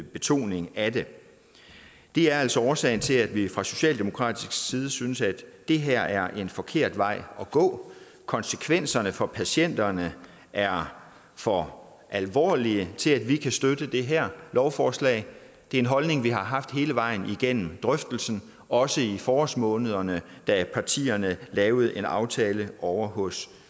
betoning af det det er altså årsagen til at vi fra socialdemokratisk side synes at det her er en forkert vej at gå konsekvenserne for patienterne er for alvorlige til at vi kan støtte det her lovforslag det er en holdning vi har haft hele vejen igennem drøftelsen også i forårsmånederne da partierne lavede en aftale ovre hos